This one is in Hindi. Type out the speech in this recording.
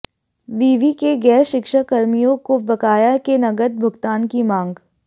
विवि के गैर शिक्षक कर्मियों को बकाया के नकद भुगतान की मांग